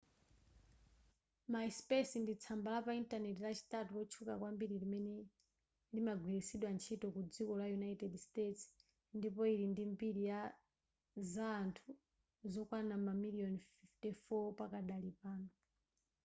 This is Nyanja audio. myspace ndi tsamba lapa intaneti lachitatu lotchuka kwambiri limene limagwiritsidwa ntchito ku dziko la united states ndipo ili ndi mbiri za anthu zokwana mamiliyoni 54 pakadali pano